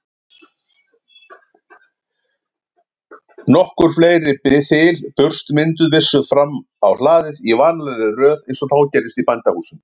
Upphaflega spurningin var svohljóðandi: Hvernig er lesblinda greind?